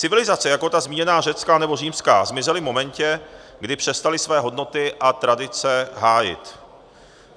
Civilizace jako ta zmíněná řecká nebo římská zmizely v momentě, kdy přestaly své hodnoty a tradice hájit.